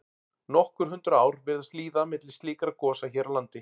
Nokkur hundruð ár virðast líða milli slíkra gosa hér á landi.